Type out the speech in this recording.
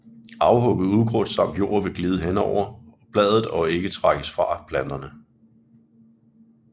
Afhugget ukrudt samt jord vil glide hen over bladet og ikke trækkes fra planterne